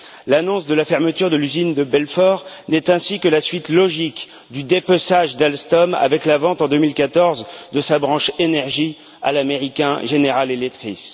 L'annonce de la fermeture de l'usine de Belfort n'est ainsi que la suite logique du dépeçage d'Alstom avec la vente en 2014 de sa branche énergie à l'américain General Electrics.